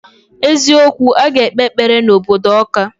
Eziokwu, aga ekpe ekpere na obodo Awka.